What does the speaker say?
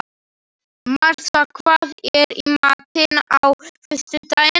Marsa, hvað er í matinn á föstudaginn?